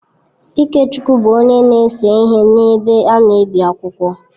Ikechukwu bụ onye na-ese ihe n’ebe a na-ebi akwụkwọ.